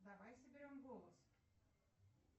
давай соберем голос